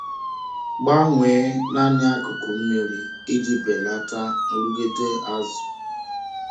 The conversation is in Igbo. Gbanwee naanị akụkụ mmiri iji belata nrụgide azụ.